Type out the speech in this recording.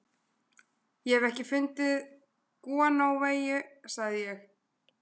Ég hef ekki fundið gúanóeyju, sagði ég.